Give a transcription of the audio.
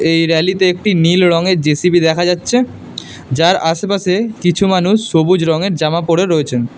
এই র‍্যালিতে একটি নীল রঙের জে_সি_বি দেখা যাচ্ছে যার আশেপাশে কিছু মানুষ সবুজ রঙের জামা পরে রয়েছেন।